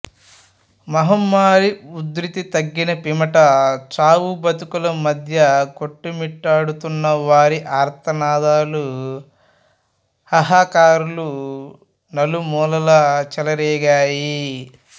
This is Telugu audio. మహమ్మారి ఉధృతి తగ్గిన పిమ్మట చావు బతుకుల మధ్య కొట్టుమిట్టాడుతున్న వారి ఆర్తనాదాలు హాహాకారాలు నలుమూలలా చెలరేగాయి